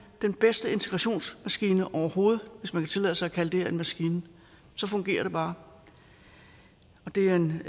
den bedste integrationsmaskine overhovedet hvis man kan tillade sig at kalde det her en maskine det fungerer bare og det er en